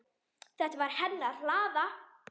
Þetta var hennar hlaða.